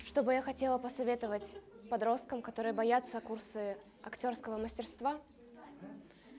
чтобы я хотела посоветовать подросткам которые боятся курсы актёрского мастерства